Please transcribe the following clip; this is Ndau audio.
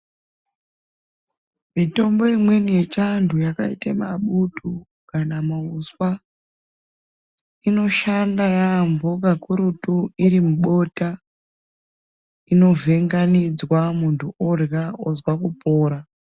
Mitombo imweni yechiantu yakaite mabutu kana mauswa inoshanda yaambo kakurutu irimubota inovhenganidzwa muntu orya ozwa kupora.